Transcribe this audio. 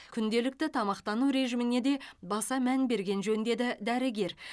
күнделікті тамақтану режиміне де баса мән берген жөн деді дәрігер